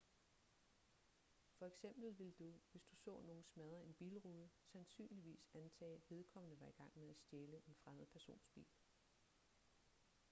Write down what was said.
for eksempel ville du hvis du så nogen smadre en bilrude sandsynligvis antage at vedkommende var i gang med at stjæle en fremmed persons bil